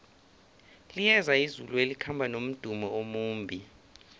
liyeza izulu elikhamba nomdumo omumbi